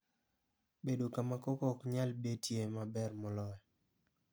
Bedo kama koko ok nyal betie e ma ber moloyo.